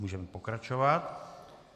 Můžeme pokračovat.